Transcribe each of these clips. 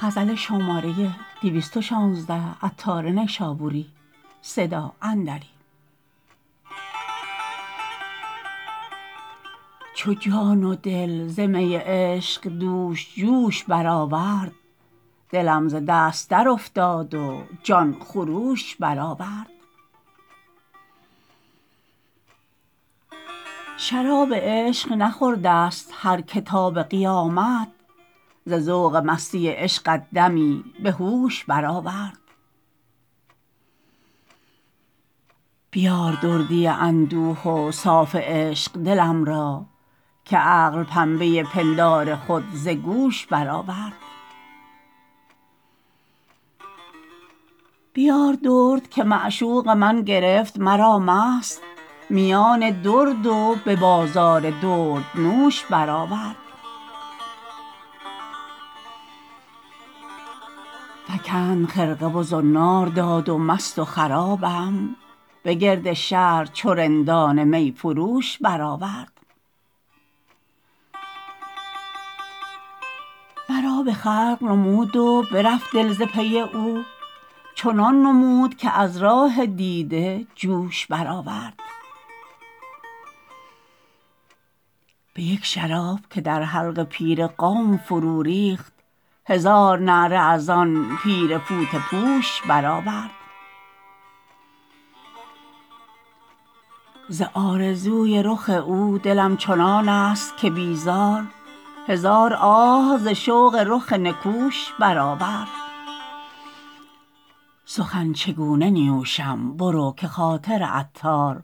چو جان و دل ز می عشق دوش جوش بر آورد دلم ز دست در افتاد و جان خروش بر آورد شراب عشق نخوردست هر که تا به قیامت ز ذوق مستی عشقت دمی به هوش بر آورد بیار دردی اندوه و صاف عشق دلم را که عقل پنبه پندار خود ز گوش بر آورد بیار درد که معشوق من گرفت مرا مست میان درد و به بازار درد نوش بر آورد فکند خرقه و زنار داد و مست و خرابم به گرد شهر چو رندان می فروش بر آورد مرا به خلق نمود و برفت دل ز پی او چنان نمود که از راه دیده جوش بر آورد به یک شراب که در حلق پیر قوم فرو ریخت هزار نعره از آن پیر فوطه پوش بر آورد ز آرزوی رخ او دلم چنانست که بیزار هزار آه ز شوق رخ نکوش بر آورد سخن چگونه نیوشم برو که خاطر عطار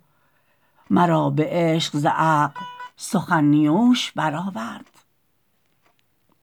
مرا به عشق ز عقل سخن نیوش بر آورد